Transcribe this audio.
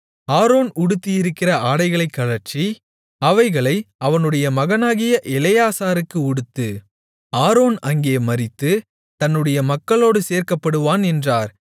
Aaron உடுத்தியிருக்கிற ஆடைகளைக் கழற்றி அவைகளை அவனுடைய மகனாகிய எலெயாசாருக்கு உடுத்து ஆரோன் அங்கே மரித்து தன்னுடைய மக்களோடு சேர்க்கப்படுவான் என்றார்